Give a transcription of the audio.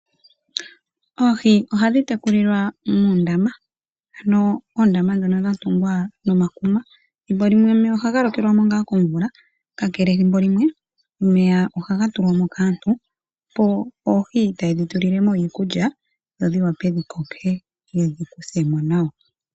Oohi ohadhi tekulilwa muundama, ano oondama ndhono dhatungwa nomakuma, thimbo limwe omeya ohaga lokelwamo ngaa komvula, kakele ethimbo limwe ohaga tulwamo kaantu, opo oohi taye dhi tulilemo iikulya, dho dhiwape dhikoke, yedhi kuthemo nawa.